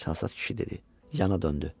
Çalsat kişi dedi, yana döndü.